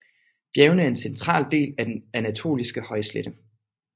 Bjergene er en central del af den anatoliske højslette